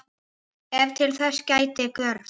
Ef þess gerist þörf